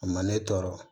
A ma ne tɔɔrɔ